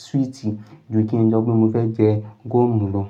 swi ti ju kí n sọ pé mo fẹ́ jẹ gúọ́mù lọ.